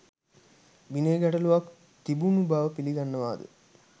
විනය ගැටලූවක් තිබුණු බව පිළිගන්නවාද?